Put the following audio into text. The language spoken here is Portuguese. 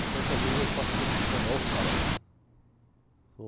Tanto é que às vezes eu faço curso de espanhol aos sábados, né?